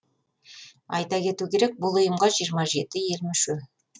айта кету керек бұл ұйымға жиырма жеті ел мүше